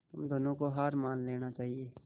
तुम दोनों को हार मान लेनी चाहियें